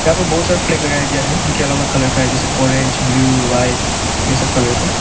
यहां पर बहोत सारा फ्लैग लगाया गया है जो की अलग अलग कलर का है जैसे ऑरेंज ब्लू व्हाइट ये सब कलर का।